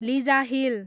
लिजाहिल